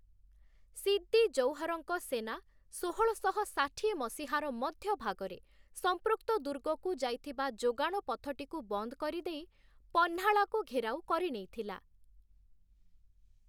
ସିଦ୍ଦି ଜୌହର୍‌ଙ୍କ ସେନା ଷୋହଳଶହ ଷାଠିଏ ମସିହାର ମଧ୍ୟ ଭାଗରେ ସମ୍ପୃକ୍ତ ଦୁର୍ଗକୁ ଯାଇଥିବା ଯୋଗାଣ ପଥଟିକୁ ବନ୍ଦ କରିଦେଇ, ପହ୍ନାଳାକୁ ଘେରାଉ କରିନେଇଥିଲା ।